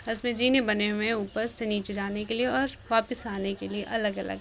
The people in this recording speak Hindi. इसमे जीने बने हुए हैं ऊपर से नीचे जाने के लिए और वापस आने के लिए अलग अलग।